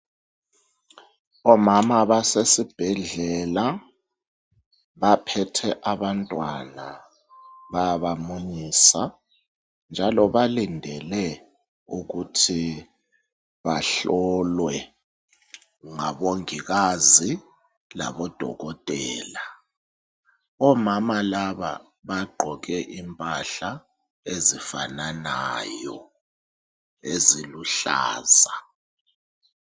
Omama basesibhedlela baphethe abantwana, bayabamunyisa njalo balindele ukuthi bahlolwe ngaBongikazi laboDokotela. Omama laba bagqoke impahla ezifananayo eziluhlaza.